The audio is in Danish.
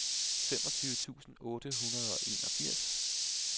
femogtyve tusind otte hundrede og enogfirs